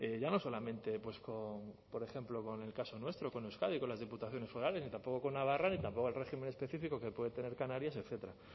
ya no solamente pues con por ejemplo con el caso nuestro con euskadi con las diputaciones forales ni tampoco con navarra ni tampoco al régimen específico que puede tener canarias etcétera